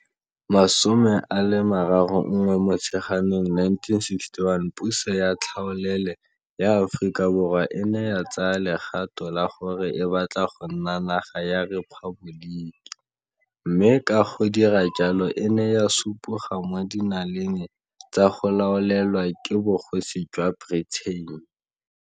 31 Mo tsheganong 1961 puso ya tlhaolele ya Aforika Borwa e ne ya tsaya legato la gore e batla go nna naga ya rephaboliki, mme ka go dira jalo e ne ya supoga mo dinaleng tsa go laolelwa ke Bogosi jwa Britain.